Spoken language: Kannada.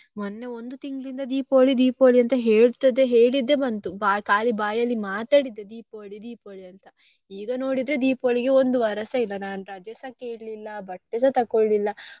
ಮೊನ್ನೆ ಒಂದು ತಿಂಗಳಿಂದ Deepavali Deepavali ಅಂತ ಹೇಳ್ತಿದ್ದೆ ಹೇಳಿದ್ದೆ ಬಂತು ಖಾಲಿ ಬಾಯಲ್ಲಿ ಮಾತಾಡಿದ್ದೇ Deepavali Deepavali ಅಂತ ಈಗ ನೋಡಿದ್ರೆ Deepavali ಗೆ ಒಂದು ವಾರಸ ಇಲ್ಲ ನಾನ್ ರಜೆಸಾ ಕೇಳ್ಲಿಲ್ಲ ಬಟ್ಟೆಸಾ ತಗೊಳ್ಲಿಲ್ಲ.